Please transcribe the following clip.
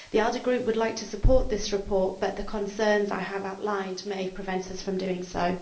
The ALDE Group would like to support this report, but the concerns I have outlined may prevent us from doing so.